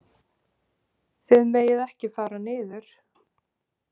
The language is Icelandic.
Þið megið ekki fara niður.